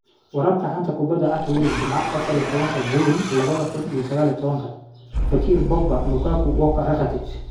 Wararka xanta kubada cagta Yurub Jimce Afaar iyo tobanka juunyo laba kuun iyo sagaal iyo tobanka: Fekir, Pogba, Lukaku, Walker, Rakitic